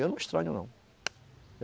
Eu não estranho, não.